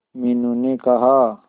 मीनू ने कहा